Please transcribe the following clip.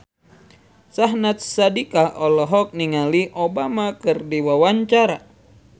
Syahnaz Sadiqah olohok ningali Obama keur diwawancara